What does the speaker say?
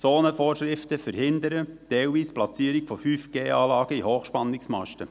Zonenvorschriften verhindern zum Teil die Platzierung von 5G-Anlagen in Hochspannungsmasten.